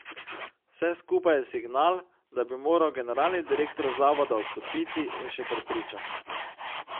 Vse skupaj je signal, da bi moral generalni direktor zavoda odstopiti, je še prepričan.